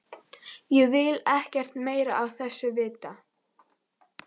Ég vil ekkert meira af þessu vita.